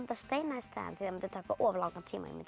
steina í staðinn því það mundi taka of langan tíma ég mundi